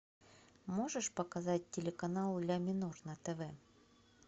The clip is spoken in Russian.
можешь показать телеканал ля минор на тв